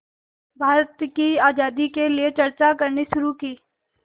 भारत की आज़ादी के लिए चर्चा करनी शुरू की